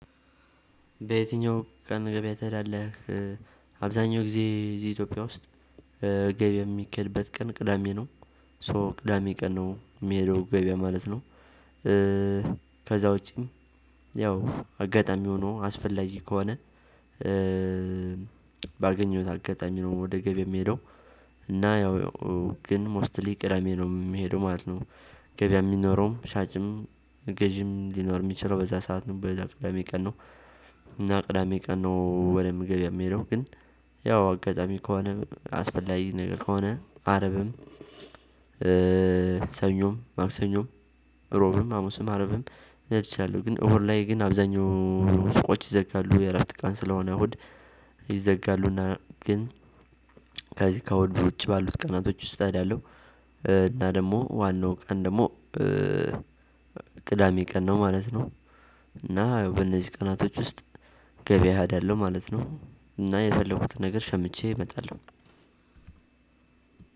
በየትኛው ቀን ገበያ ትሄዳለህ? አብዛኛው ጊዜ እዚህ ኢትዮጵያ ውስጥ ገበያ የሚኬድበት ቀን ቅዳሜ ነው ሶ ቅዳሜ ቀን ነው ሚሄደው ገበያ ማለት ነው። ክዛ ውጪም ያው አጋጣሚ ሆኖ አስፈላጊ ከሆነ። ባገኘሁት አጋጣሚ ነው ወደ ገበያ ምሄደው። እና ያው ግን ሞስትሊ ቅዳሜ ነው ምሄደው ማለት ነው። ገበያ የሚኖረውም ሻጭም ገዢም ሊኖር የሚችለው በዛ ሰዓት ነው በዛ ቅዳሜ ቀን ነው። እና ቅዳሜ ቀን ነው ወደ ገበያ ምሄደው ግን ያው አጋጣሚ ከሆነ አስፈላጊ ነገር ከሆነ አርብም። ሰኞም ማክሰኞም ሮብም ሃሙስም አርብም ልሄድ እችላለሁ። ግን እሁድ ላይ ግን አብዛኛው ሱቆች ይዘጋሉ የእረፍት ቀን ስለሆነ እሁድ ይዘጋሉና ግን። ከዚህ እሁድ ውጪ ባሉት ቀናቶች ውስጥ ስትሄድ ያለው እና ደሞ ዋናው ቀን ደሞ ቅዳሜ ቀን ነው ማለት ነው። እና በእነዚህ ቀናቶች ውስጥ ገበያ እሄዳለሁ ማለት ነው። እና የፈለኩትን ነገር ሸምቼ መጣለሁ።